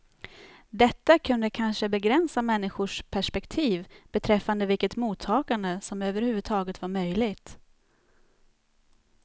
Detta kunde kanske begränsa människors perspektiv beträffande vilket mottagande som överhuvudtaget var möjligt.